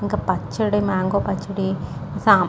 ఇంక పచ్చడి మ్యాంగో పచ్చడి సాం --